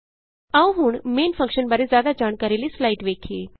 ਆਉ ਹੁਣ main function ਬਾਰੇ ਜਿਆਦਾ ਜਾਣਕਾਰੀ ਲਈ ਸਲਾਈਡ ਵੇਖੀਏ